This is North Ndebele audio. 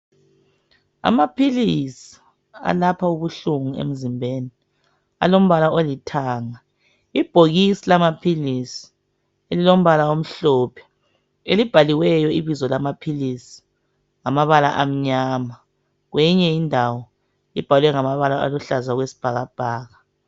Amaphilisi alapha ubuhlungu emzimbeni alombala olithanga ibhokisi lamaphilisi elilombala omhlophe elibhaliweyo ibizo lamaphilisi ngamabala amnyama kweyinye indawo libhalwe ngamabala aluhlaza okwesibhakabhaka.